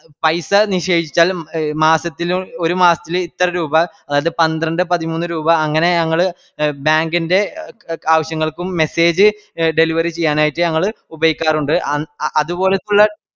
പൈസ നിഷേപിച്ചാലും എ മാസത്തിലും ഒരുമാസത്തില് ഇത്ര രൂപ അതായത് പന്ത്രണ്ട് പതിമൂന്ന് രൂപാ അങ്ങനെ ഞങ്ങള് എ bank ന്റെ എ ആവശ്യങ്ങൾക്കും message delivery ചെയ്യാനായിറ്റ് ഞങ്ങള് ഉപയോഗിക്കാറുണ്ട് അം അതുപോലത്തുള്ള